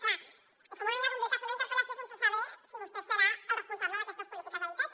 clar és una mica complicat fer una interpel·lació sense saber si vostè serà el responsable d’aquestes polítiques d’habitatge